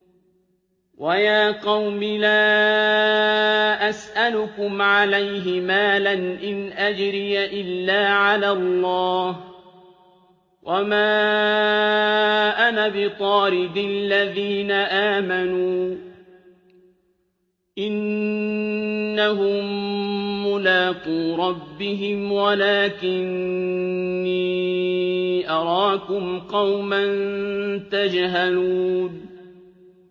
وَيَا قَوْمِ لَا أَسْأَلُكُمْ عَلَيْهِ مَالًا ۖ إِنْ أَجْرِيَ إِلَّا عَلَى اللَّهِ ۚ وَمَا أَنَا بِطَارِدِ الَّذِينَ آمَنُوا ۚ إِنَّهُم مُّلَاقُو رَبِّهِمْ وَلَٰكِنِّي أَرَاكُمْ قَوْمًا تَجْهَلُونَ